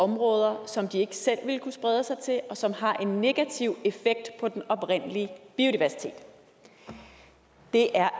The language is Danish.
områder som de ikke selv ville kunne sprede sig til og som har en negativ effekt på den oprindelige biodiversitet det er